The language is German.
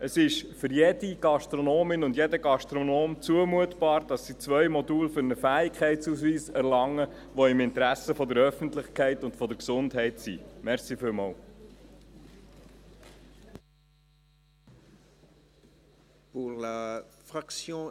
Es ist für jede Gastronomin und jeden Gastronomen zumutbar, zwei Module zu besuchen, um einen Fähigkeitsausweis zu erlangen, was im Interesse der Öffentlichkeit und der Gesundheit ist.